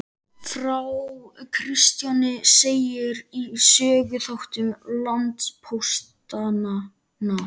Frá Kristjáni segir í Söguþáttum landpóstanna.